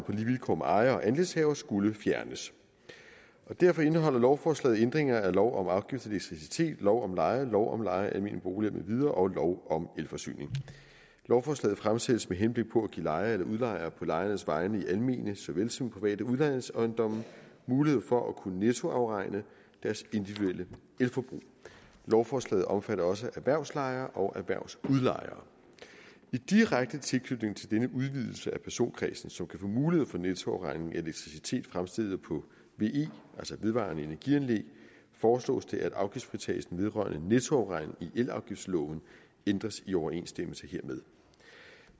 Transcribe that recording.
vilkår med ejere og andelshavere skulle fjernes derfor indeholder lovforslaget ændringer af lov om afgift på elektricitet lov om leje lov om leje af almene boliger med videre og lov om elforsyning lovforslaget fremsættes med henblik på at give lejere eller udlejere på lejernes vegne i almene såvel som private udlejningsejendomme mulighed for at kunne nettoafregne deres individuelle elforbrug lovforslaget omfatter også erhvervslejere og erhvervsudlejere i direkte tilknytning til denne udvidelse af personkredsen som kan få mulighed for nettoafregning af elektricitet fremstillet på ve altså vedvarende energianlæg foreslås det at afgiftsfritagelsen vedrørende nettoafregning i elafgiftsloven ændres i overensstemmelse hermed